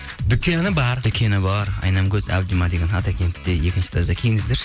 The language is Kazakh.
дүкені бар дүкені бар айнамкөз әбдима деген атакенте екінші этажда келіңіздерші